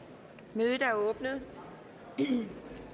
mødet er åbnet der er